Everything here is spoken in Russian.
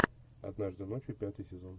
однажды ночью пятый сезон